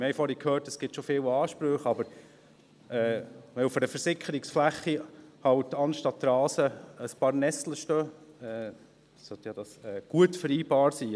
Wir haben vorher gehört, es gibt schon viele Ansprüche, aber wenn auf einer Versickerungsfläche halt anstatt Rasen ein paar Nesseln stehen, sollte das ja gut vereinbar sein.